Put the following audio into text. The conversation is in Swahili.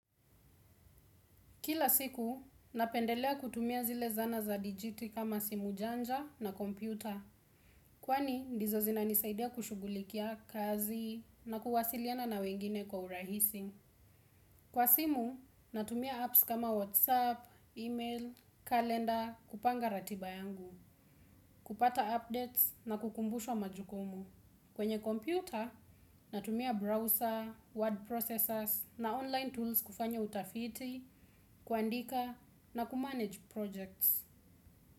Kila siku, napendelea kutumia zile zana za dijiti kama simu janja na kompyuta. Kwani, ndizo zinanisaidia kushughulikia kazi na kuwasiliana na wengine kwa urahisi. Kwa simu, natumia apps kama WhatsApp, email, kalenda, kupanga ratiba yangu. Kupata updates na kukumbushwa majukumu. Kwenye kompyuta, natumia browser, word processors na online tools kufanya utafiti, kuandika na kumanage projects.